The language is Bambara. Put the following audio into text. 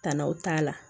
Tannaw t'a la